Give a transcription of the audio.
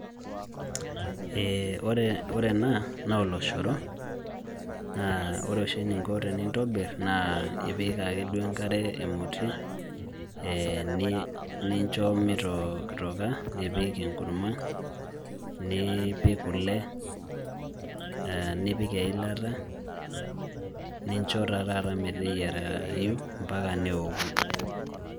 Ore ena naa oloshoro naa ore oshi eninko tenintobirr naa ipik ake duo enkare emoti nincho mitokitoka nipik enkurma nipik kule aa nipik eilata nincho taa taata meteyiarayu mpaka neoku.